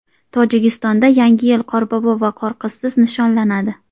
Tojikistonda Yangi yil Qorbobo va Qorqizsiz nishonlanadi.